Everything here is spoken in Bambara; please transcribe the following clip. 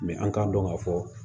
an k'a dɔn k'a fɔ